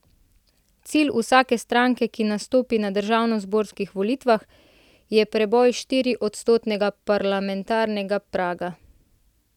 Cilj vsake stranke, ki nastopi na državnozborskih volitvah, je preboj štiriodstotnega parlamentarnega praga.